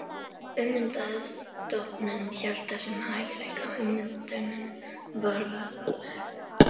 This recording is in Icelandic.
Ummyndaði stofninn hélt þessum hæfileika, ummyndunin var varanleg.